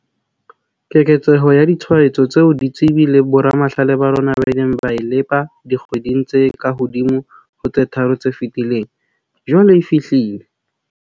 Keketseho ya ditshwaetso tseo ditsebi le boramahlale ba rona ba ileng ba e lepa dikgweding tse kahodimo ho tse tharo tse fetileng, jwale e fihlile.